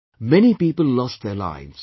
Many people lost their lives